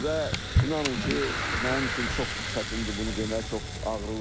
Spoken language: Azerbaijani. Və inanın ki, mənim üçün çox çətindir bunu demək, çox ağrılıdır.